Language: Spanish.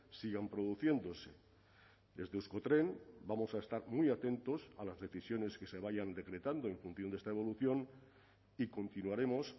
sigan produciéndose desde euskotren vamos a estar muy atentos a las decisiones que se vayan decretando en función de esta evolución y continuaremos